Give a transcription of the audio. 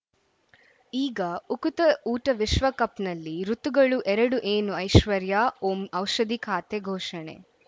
ಈಗ ಉಕುತ ಊಟ ವಿಶ್ವಕಪ್‌ನಲ್ಲಿ ಋತುಗಳು ಎರಡು ಏನು ಐಶ್ವರ್ಯಾ ಓಂ ಔಷಧಿ ಖಾತೆ ಘೋಷಣೆ